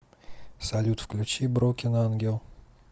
салют включи брокен ангел